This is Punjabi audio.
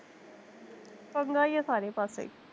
ਪੰਗਾ ਈ ਆ ਸਾਰੇ ਪਾਸੇ